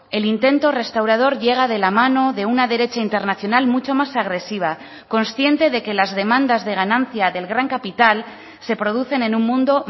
el intento restaurador llega de la mano de una derecha internacional mucho más agresiva consciente de que las demandas de ganancia del gran capital se producen en un mundo